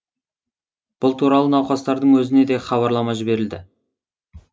бұл туралы науқастардың өзіне де хабарлама жіберілді